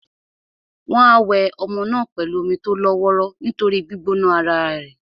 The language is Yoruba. Wọ́n á wẹ ọmọ náà pẹ̀lú omi tó lọ́ wọ́ró nítorí gbígbóná ara è.